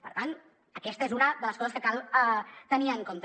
per tant aquesta és una de les coses que cal tenir en compte